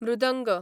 मृदंग